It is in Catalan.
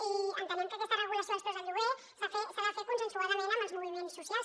i entenem que aquesta regulació dels preus del lloguer s’ha de fer consensuadament amb els moviments socials